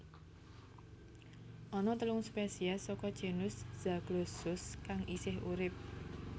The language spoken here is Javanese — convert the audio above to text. Ana telung spesies saka genus Zaglossus kang isih urip